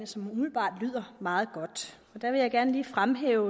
som umiddelbart lyder meget godt der vil jeg gerne lige fremhæve